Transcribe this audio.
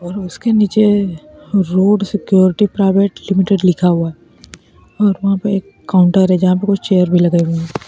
और उसके नीचे रोड सिक्योरिटी प्राइवेट लिमिटेड लिखा हुआ और वहां पे एक काउंटर है जहां पे कुछ चेयर लगाए हुए --